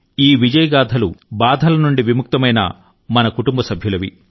ఈ విజయ గాథలు బాధల నుండి విముక్తమైన మన కుటుంబ సభ్యులవి